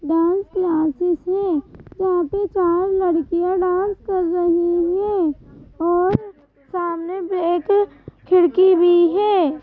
Dance classes है यहाँ पे चार लडकिया डांस कर रही है और सामने एक खिड़की भी है.